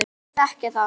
Ég vil ekki þekkja þá.